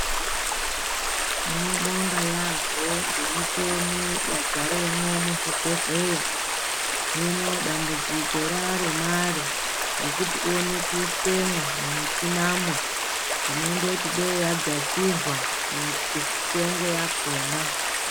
Tinobonga yaambo ngemicheni yadzaremwo muzvibhedhleya. Hino dambudziko rare mare rekuti uone kuiswemwo mumushinamwo tinondoti dei yadzasirwa mitengo yakona.